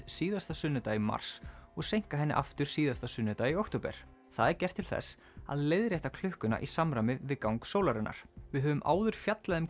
síðasta sunnudag í mars og seinka henni aftur síðasta sunnudag í október það er gert til þess að leiðrétta klukkuna í samræmi við gang sólarinnar við höfum fjallað um